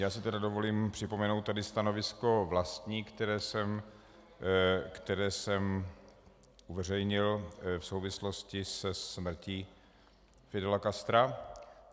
Já si tedy dovolím připomenout tady stanovisko vlastní, které jsem uveřejnil v souvislosti se smrtí Fidela Castra.